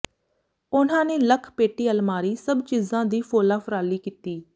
ਉਨ੍ਹਾਂ ਨੇ ਲੱਖ ਪੇਟੀ ਅਲਮਾਰੀ ਸਭ ਚੀਜ਼ਾਂ ਦੀ ਫੋਲਾ ਫਰਾਲੀ ਕੀਤੀ